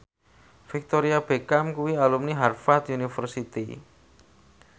Victoria Beckham kuwi alumni Harvard university